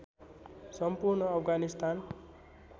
सम्पूर्ण अफगानिस्तान